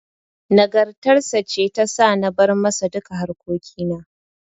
Nagartar sa ce ta sa na bar masa duka harkokin.